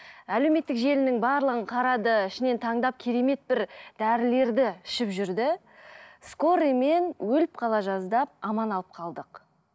әлеуметтік желінің барлығын қарады ішінен таңдап керемет бір дәрілерді ішіп жүрді скорыймен өліп қала жаздап аман алып қалдық